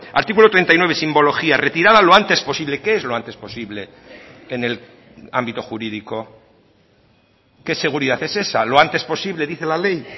artículo treinta y nueve simbología retirada lo antes posible qué es lo antes posible en el ámbito jurídico qué seguridad es esa lo antes posible dice la ley